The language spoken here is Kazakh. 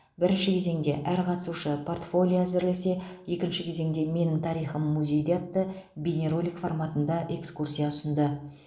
бірінші кезеңде әр қатысушы портфолия әзірлесе екінші кезеңде менің тарихым музейде атты бейнеролик форматында экскурсия ұсынды